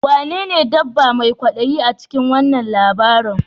Wanene dabba mai kwadayi a cikin wannan labarin?